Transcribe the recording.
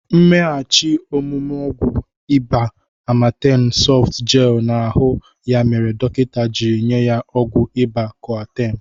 Mmeghachi omụme ọgwụ ịba Amatem sọft gel na ahụ ya mere dọkịnta jiri nye ya ọgwụ ịba koatem.